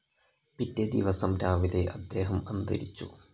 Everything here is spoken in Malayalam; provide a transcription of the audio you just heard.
പിറ്റേദിവസം രാവിലെ അദ്ദേഹം അന്തരിച്ചു.